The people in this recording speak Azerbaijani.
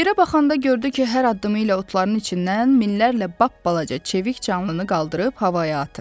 Yerə baxanda gördü ki, hər addımı ilə otların içindən minlərlə lap balaca çevik canlıını qaldırıb havaya atır.